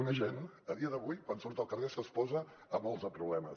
un agent a dia d’avui quan surt al carrer s’exposa a molts de problemes